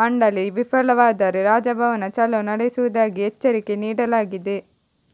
ಮಂಡಳಿ ವಿಫಲವಾದರೆ ರಾಜಭವನ ಚಲೋ ನಡೆಸುವುದಾಗಿ ಎಚ್ಚರಿಕೆ ನೀಡಲಾಗಿದೆ